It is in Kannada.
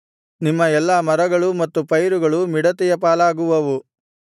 ನಿಮ್ಮ ಎಲ್ಲಾ ಮರಗಳೂ ಮತ್ತು ಪೈರುಗಳೂ ಮಿಡತೆಯ ಪಾಲಾಗುವವು